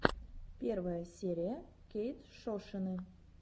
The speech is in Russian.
первая серия кейтшошины